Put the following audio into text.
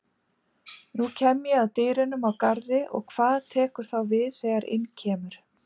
Nú kem ég að dyrum á Garði og hvað tekur þá við þegar inn kemur?